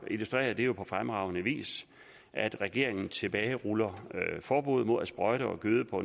illustrerer det jo på fremragende vis at regeringen tilbageruller forbuddet mod at sprøjte og gøde på